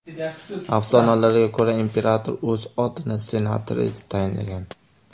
Afsonalarga ko‘ra, imperator o‘z otini senator etib tayinlagan.